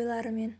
ойларымен